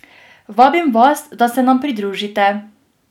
Vabim vas, da se nam pridružite!